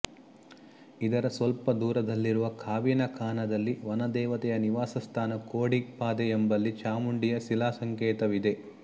ಇದರ ಸ್ವಲ್ಪ ದೂರದಲ್ಲಿರುವ ಕಾವಿನ ಕಾನದಲ್ಲಿ ವನದೇವತೆಯ ನಿವಾಸಸ್ಥಾನ ಕೋಡಿ ಪಾದೆ ಎಂಬಲ್ಲಿ ಚಾಮುಂಡಿಯ ಶಿಲಾ ಸಂಕೇತವಿದೆ